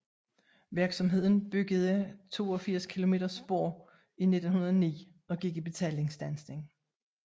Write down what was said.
Virksomheden byggede 82 km spor i 1909 og gik i betalingsstandsning